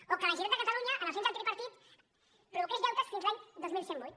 o que la generalitat de catalunya els anys del tripartit provoqués deutes fins a l’any dos mil cent i vuit